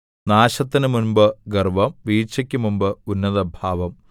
നാശത്തിന് മുമ്പ് ഗർവ്വം വീഴ്ചയ്ക്ക് മുമ്പ് ഉന്നതഭാവം